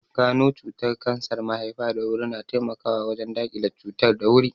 Gano cutar kansar mahaifa da wuri na taimakawa wajen daƙile cutar da wuri